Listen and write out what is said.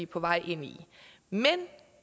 på vej ind i men